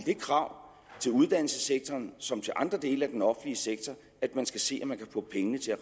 krav til uddannelsessektoren som til de andre dele af den offentlige sektor at man skal se om man kan få pengene til at